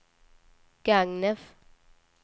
Gagnef